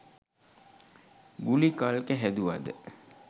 ගුලි කල්ක හැදුවද